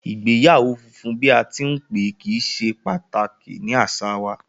Igbeyawo funfun bi a ti n pe, kii ṣe pataki ni aṣa wa